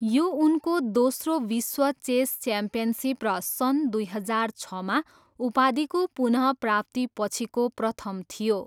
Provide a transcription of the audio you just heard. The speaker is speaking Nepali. यो उनको दोस्रो विश्व चेस च्याम्पियनसिप र सन् दुई हजार छमा उपाधिको पुनःप्राप्तिपछिको प्रथम थियो।